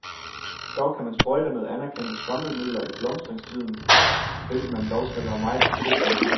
Dog kan man sprøjte med anerkendte svampemidler i blomstringstiden, hvilket man dog skal være meget forsigtig med.